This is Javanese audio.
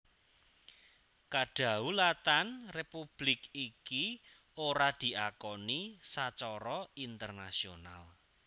Kadhaulatan republik iki ora diakoni sacara internasional